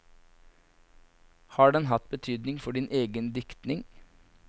Har den hatt betydning for din egen diktning?